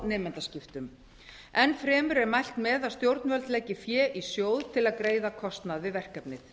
nemendaskiptum enn fremur er mælt með að stjórnvöld leggi fé í sjóð til að greiða kostnað við verkefnið